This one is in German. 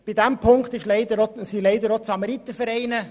Zu diesem Punkt gehören leider auch die Samaritervereine.